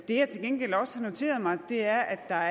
det jeg til gengæld også har noteret mig er at der